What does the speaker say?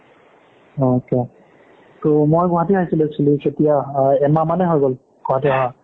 okay তোৰ মই গুৱাহাটী আহিছিলো actually কেতিয়া এমাহ মানেই হৈ গ'ল গুৱাহাটী অহা